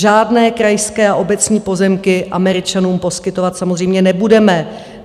Žádné krajské a obecní pozemky Američanům poskytovat samozřejmě nebudeme.